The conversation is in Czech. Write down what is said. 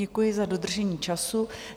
Děkuji za dodržení času.